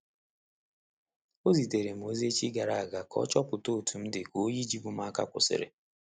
Ọ zitere m ozi echi gara a ga ka ọ chọpụta otu m di ka oyi jibu m aka kwusiri.